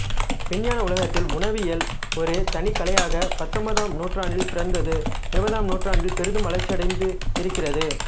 விஞ்ஞான உலகத்தில் உணவியல் ஒரு தனிக் கலையாகப் பத்தொன்பதாம் நூற்றாண்டில் பிறந்து இருபதாம் நூற்றாண்டில் பெரிதும் வளர்ச்சியடைந்திருக்கிறது